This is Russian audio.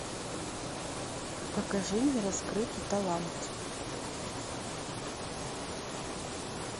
покажи нераскрытый талант